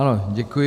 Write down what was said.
Ano, děkuji.